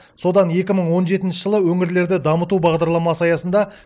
содан екі мың он жетінші жылы өңірлерді дамыту бағдарламасы аясында